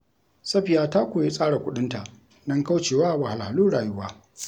Safiya ta koyi tsara kuɗinta don kauce wa wahalhalun rayuwa.